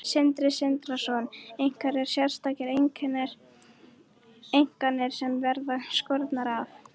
Sindri Sindrason: Einhverjar sérstakar einingar sem verða skornar af?